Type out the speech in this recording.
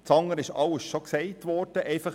Alles andere wurde bereits gesagt.